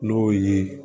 N'o ye